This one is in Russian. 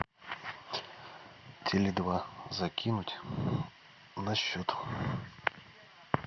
теле два закинуть на счет